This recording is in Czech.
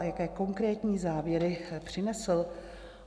A jaké konkrétní závěry přinesl?